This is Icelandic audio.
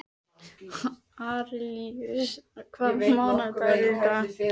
Arilíus, hvaða mánaðardagur er í dag?